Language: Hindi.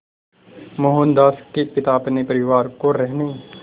मोहनदास के पिता अपने परिवार को रहने